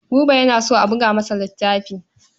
Buba yana so a buga masa littafi.